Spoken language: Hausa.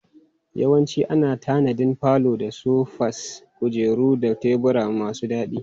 Yawanci ana tanadin falo da sofas, kujeru da tebura masu daɗi.